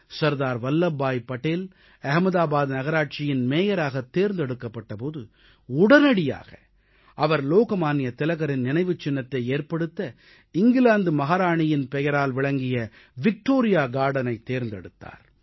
சர்தார் வல்லப்பாய் படேல் அகமதாபாத் நகராட்சியின் மேயராகத் தேர்ந்தெடுக்கப்பட்ட போது உடனடியாக அவர் லோக்மான்ய திலகரின் நினைவுச் சின்னத்தை ஏற்படுத்த இங்கிலாந்து மகாராணியின் பெயரால் விளங்கிய விக்டோரியா கார்டனைத் தேர்ந்தெடுத்தார்